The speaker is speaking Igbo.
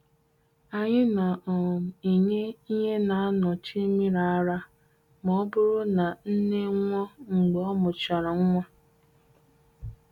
Anyi na um enye ihe na anọchị miri ara ma ọ bụrụ na nne nwụọ mgbe ọ mụchara nwa.